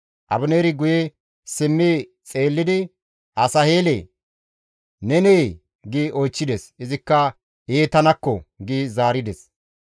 Abineeri guye simmi xeellidi, «Asaheelee! Nenee!» gi oychchides. Izikka, «Ee tanakko!» gi zaarides.